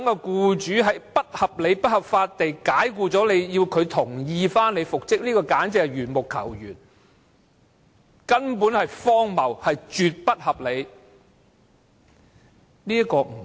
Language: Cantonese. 僱主在不合理及不合法解僱僱員後，還要讓僱主同意僱員復職，簡直是緣木求魚，荒謬至極。